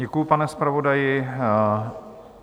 Děkuji, pane zpravodaji.